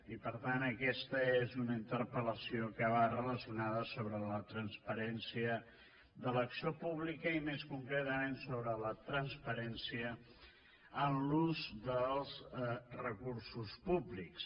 i per tant aquesta és una interpel·lació que va relacionada amb la transparència de l’acció pública i més concretament amb la transparència en l’ús dels recursos públics